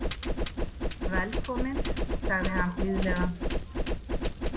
Velkomin, sagði hann blíðlega.